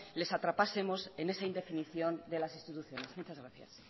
les atrapásemos en esa indefinición de las instituciones muchas gracias